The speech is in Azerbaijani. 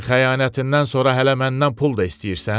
Sən xəyanətindən sonra hələ məndən pul da istəyirsən?